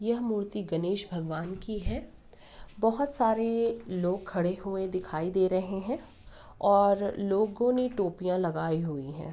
यह मूर्ति गणेश भगवान की है। बहोत सारे लोग खड़े हुए दिखाई दे रहे हैं और लोगों ने टोपियाँ लगाई हुई हैं।